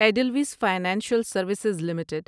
Edelweiss financial services limited